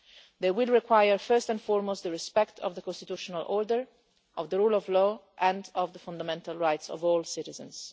They will require, first and foremost, respect for the constitutional order, the rule of law and the fundamental rights of all citizens.